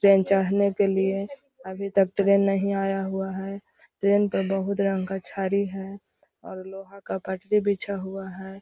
Train चढ़ने के लिए अभी तक ट्रेन नहीं आया हुआ है ट्रेन तो बहुत रंग का छड़ी है और लोहा का पटरी बिछा हुआ है।